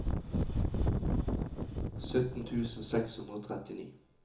sytten tusen seks hundre og trettini